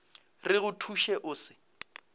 re go thuše o se